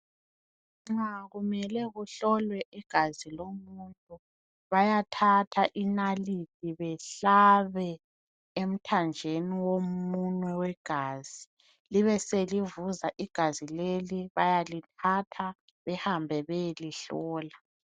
Nxa kumele kuhlolwe igazi lomuntu bayathatha inalithi behlabe emthanjeni womunwe wegazi, libe selivuza igazi leli bayalithatha behambe beyelihlola.